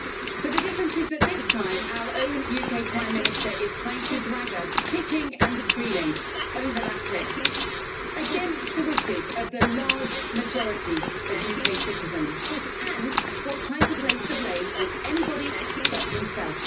But the difference is that this time our own UK Prime Minister is trying to drag us kicking and screaming, over that cliff, against the wishes of the large majority of UK citizens, and while trying to place the blame on anybody but himself.